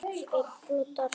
Skeggbroddar í andlitinu.